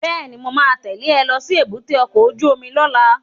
Bẹ́ẹ̀ni, mo ma tẹ́lẹ̀ ẹ lọ sí èbúté ọkọ̀ ojú omi lọ́la